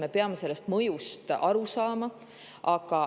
Me peame sellest mõjust aru saama.